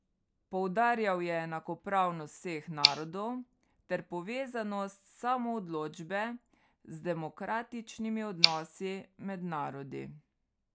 Poudarjal je enakopravnost vseh narodov ter povezanost samoodločbe z demokratičnimi odnosi med narodi.